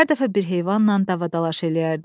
Hər dəfə bir heyvanla davadalaş eləyərdi.